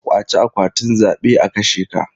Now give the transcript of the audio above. Ƙwace akwatin zabe a kashe ka.